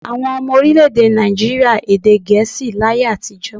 Àwọn ọmọ orílẹ̀-èdè Nàìjííríà èdè Gẹ̀ẹ́sì láyé àtijọ́.